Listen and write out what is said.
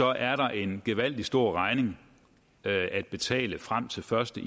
er der en gevaldig stor regning at betale frem til første